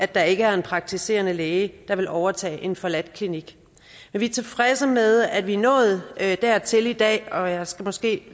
der ikke er en praktiserende læge der vil overtage en forladt klinik vi er tilfredse med at vi er nået dertil i dag og jeg skal måske